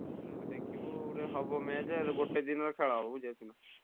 ଦେଖିକି ଗୋଟେ ହବ match ଗୋଟେ ଦିନରେ ଖେଳ ହବ ବୁଝିପାରୁଛନା?